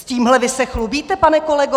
S tímhle vy se chlubíte, pane kolego?